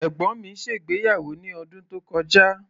Ẹ̀gbọ́n mi ṣe ìgbéyàwó ní ọdún tó kọjá.